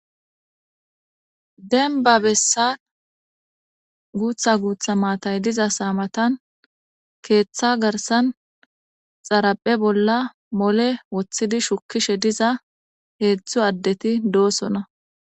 Denba bessan guutha guutha maatay diza saamatan keeththa garsan xaraphe bolla mole woththidi shukishe diza heedzdzu addeti doosona.